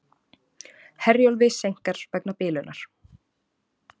Herjólfi seinkar vegna bilunar